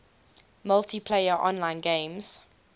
multiplayer online games